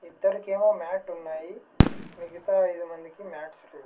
ఇద్దరికేమో మ్యాటున్నాయి మిగతా ఐదు మందికి మాట్స్ లేవ్.